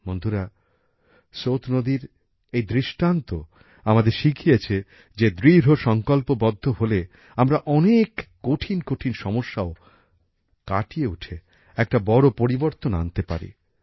বন্ধুরা সোত নদীর এই দৃষ্টান্ত আমাদের শিখিয়েছে যে দৃঢ়সংকল্পবদ্ধ হলে আমরা অনেক কঠিন কঠিন সমস্যাও কাটিয়ে উঠে একটা বড় পরিবর্তন আনতে পারি